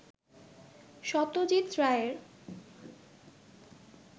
সত্যজিত রায়ের